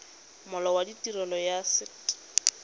molao wa tirelo ya set